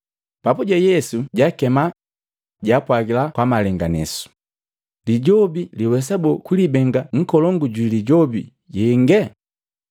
Papuje Yesu jaakema, jaapwagila kwa malenganesu, “Lijobi liwesaboo kulibenga nkolongu jwi lijobi yenge?